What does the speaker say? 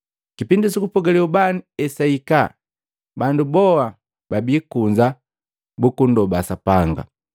Kipindi sukupogale ubani esahika, bandu boha babi kunza bukundoba Sapanga.